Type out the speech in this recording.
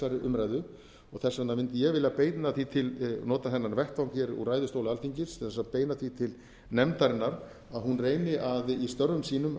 umræðu og þess vegna mundi ég vilja beina því til nota þennan vettvang hér úr ræðustól alþingis til þess að beina því til nefndarinnar að hún reyni í störfum sínum